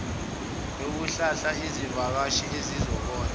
yokuhlala izivakashi ezizobona